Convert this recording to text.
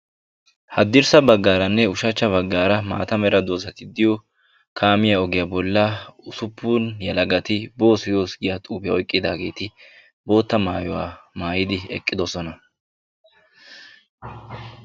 Haddirssa baggaranne ushshachcha baggara maata mera doozati diyoo kaamiyaa ogiyaa bollaa usuppun yelagati boos yoos giyaa xuufiyaa oyqqidaageti bootta maayuwaa maayidi eqqidosona.